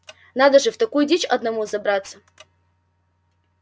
надо же в такую дичь одному забраться